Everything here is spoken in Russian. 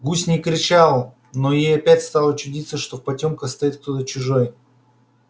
гусь не кричал но ей опять стало чудиться что в потёмках стоит кто-то чужой